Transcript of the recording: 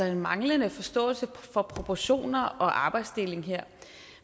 en manglende forståelse for proportioner og arbejdsdeling her